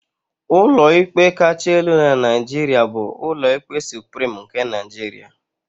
Ụlọikpe kacha elu na Naijiria bụ Ụlọikpe Suprim nke Nigeria.